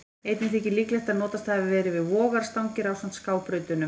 Einnig þykir líklegt að notast hafi verið við vogarstangir ásamt skábrautunum.